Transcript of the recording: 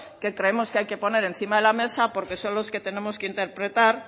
que creemos que hay que poner encima de la mesa porque son los que tenemos que interpretar